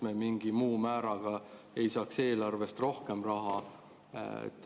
Kas me mingi muu määraga ei saaks eelarvest rohkem raha?